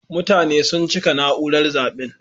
Mutane sun cika naúrar zaben.